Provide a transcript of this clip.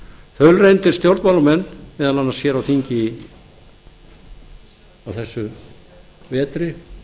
hluta þaulreyndir stjórnmálamenn meðal annars hér á þingi á þessum vetri